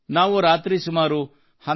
ನಾವು ರಾತ್ರಿ ಸುಮಾರು 12